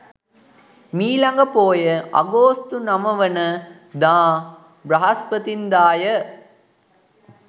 මීළඟ පෝය අගෝස්තු 09 වන දා බ්‍රහස්පතින්දා ය.